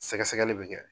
Sɛgɛsɛgɛli bɛ kɛ